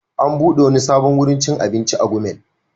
An buɗe wani sabon wurin cin abinci a Gumel.